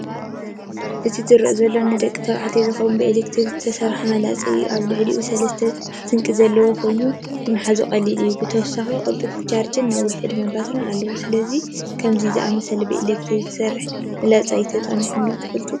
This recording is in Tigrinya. እቲ ዝርአ ዘሎ ንደቂ ተባዕትዮ ዝኸውን ብኤሌክትሪክ ዝሰርሕ መላጸ እዩ። ኣብ ልዕሊኡ ሰለስተ ስንቂ ዘለዎ ኮይኑ ንምሓዝ ቀሊል እዩ። ብተወሳኺ ቅልጡፍ ቻርጅን ነዊሕ ዕድመ ባትሪን ኣለዎ። ስለዚ፡ ከምዚ ዝኣመሰለ ብኤሌክትሪክ ዝሰርሕ መላጸ ተጠቒምክን ዶ ትፈልጥ?